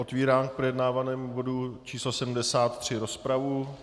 Otvírám k projednávanému bodu číslo 73 rozpravu.